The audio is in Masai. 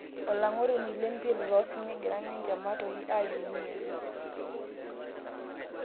Olang'oroni lempira loosinya egira ninje Matoi ayieu ninyang'u